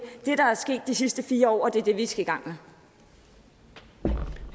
det der er sket de sidste fire år og det er det vi skal i gang